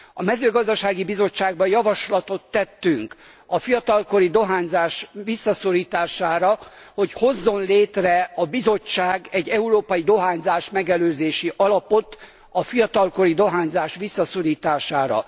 A Mezőgazdasági Bizottságban javaslatot tettünk a fiatalkori dohányzás visszaszorítására, hogy hozzon létre a Bizottság egy európai dohányzásmegelőzési alapot a fiatalkori dohányzás visszaszorítására.